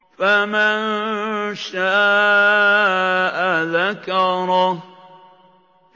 فَمَن شَاءَ ذَكَرَهُ